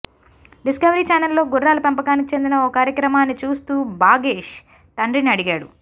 discovery ఛానెల్లో గుర్రాల పెంపకానికి చెందిన ఓ కార్యక్రమాన్ని చూస్తూ భాగేష్ తండ్రిని అడిగాడు